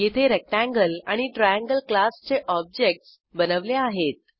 येथे रेक्टेंगल आणि ट्रायंगल क्लासचे ऑब्जेक्टस बनवले आहेत